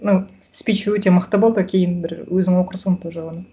ну спич өте мықты болды кейін бір өзің оқырсың тоже оны